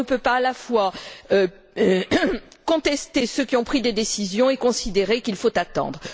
On ne peut pas à la fois contester ceux qui ont pris des décisions et considérer qu'il faut attendre.